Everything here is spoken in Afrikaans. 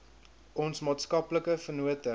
ons maatskaplike vennote